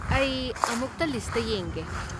ꯑꯩ ꯑꯃꯨꯛꯇ ꯂꯤꯁꯠꯇ ꯌꯦꯡꯒꯦ꯫